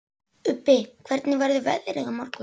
Ubbi, hvernig verður veðrið á morgun?